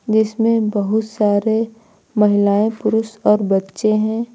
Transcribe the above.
इसमें बहुत सारे महिलाएं पुरुष और बच्चे हैं।